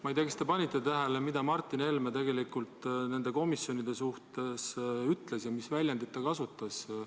Ma ei tea, kas te panite tähele, mida Martin Helme tegelikult nende komisjonide kohta ütles ja mis väljendit ta kasutas.